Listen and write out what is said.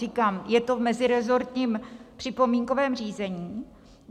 Říkám, je to v meziresortním připomínkovém řízení.